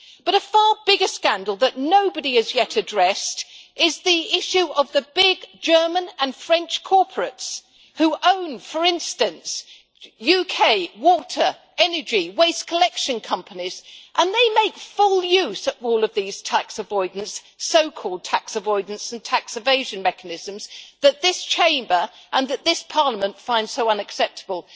A far bigger scandal that nobody has yet addressed is the issue of the big German and French corporates who own, for instance, UK water, energy, waste collection companies, and they make full use all of the so called tax avoidance and tax evasion mechanisms which this Chamber and this Parliament finds so unacceptable.